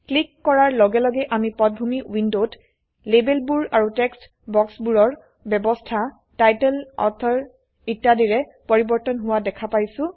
click কৰাৰ লগে লগে আমি পটভূমি উইন্ডোত লেবেলবোৰ আৰু টেক্সট বাক্সবোৰৰ বয়ৱস্হা টাইটেল অথৰ ইত্যাদিৰে পৰিবৰ্তন হোৱা দেখা পাইছে